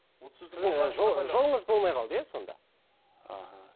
сіздің жолыңыз болмай қалды иә сондай аха